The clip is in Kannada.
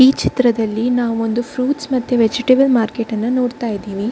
ಈ ಚಿತ್ರದಲ್ಲಿ ನಾವು ಒಂದು ಫ್ರುಇಟ್ಸ್ ಮತ್ತೆ ವೆಜಿಟೇಬಲ್ ಮಾರ್ಕೆಟ್ ಅನ್ನು ನೋಡ್ತಾ ಇದ್ದಿವಿ.